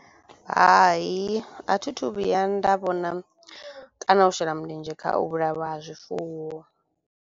Hai a thi thu vhuya nda vhona kana u shela mulenzhe kha u vhulaiwa ha zwifuwo.